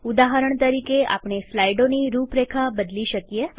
ઉદાહરણ તરીકેઆપણે સ્લાઈડોની રુરેખા બદલી શકીએ